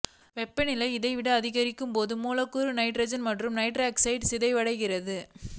வெப்பநிலை இதைவிட அதிகரிக்கும் போது மூலக்கூறு நைட்ரசன் மற்றும் நைட்ரசாக்சைடாகச் சிதைவடைகிறது